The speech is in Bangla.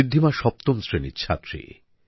ঋদ্ধিমা সপ্তম শ্রেণীর ছাত্রী